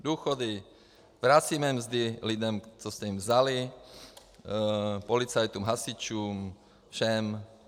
Důchody, vracíme mzdy lidem, co jste jim vzali, policajtům, hasičům, všem.